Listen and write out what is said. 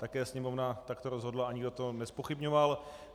Také Sněmovna takto rozhodla a nikdo to nezpochybňoval.